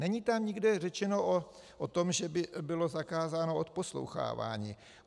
Není tam nikde řečeno o tom, že by bylo zakázáno odposlouchávání.